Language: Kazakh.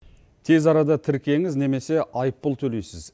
тез арада тіркеңіз немесе айыппұл төлейсіз